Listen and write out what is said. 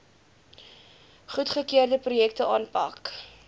goedgekeurde projekte aanpak